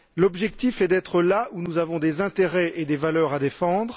L'objectif est d'être là où nous avons des intérêts et des valeurs à défendre.